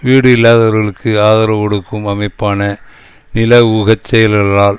வீடு இல்லாதவர்களுக்கு ஆதரவு கொடுக்கும் அமைப்பான நில ஊக செயல்களால்